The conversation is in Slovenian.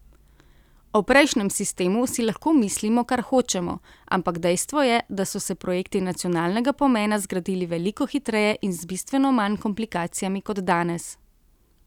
O prejšnjem sistemu si lahko mislimo, kar hočemo, ampak dejstvo je, da so se projekti nacionalnega pomena zgradili veliko hitreje in z bistveno manj komplikacijami kot danes.